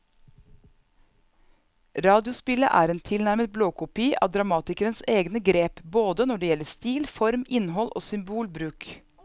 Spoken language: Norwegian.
Radiospillet er en tilnærmet blåkopi av dramatikerens egne grep både når det gjelder stil, form, innhold og symbolbruk.